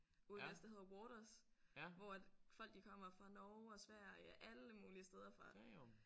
Ude vest der hedder Waters hvor at folk de kommer fra Norge og Sverige alle mulige steder fra